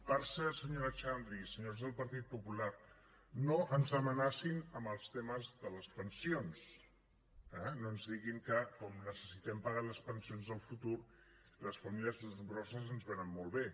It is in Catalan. per cert senyora xandri senyors del partit popular no ens amenacin amb els temes de les pensions eh no ens diguin que com que necessitem pagar les pensions del futur les famílies nombroses ens van molt bé